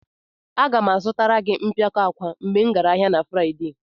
Aga m azụtara gị mpịakọta akwa mgbe m gara ahịa na Fraịde.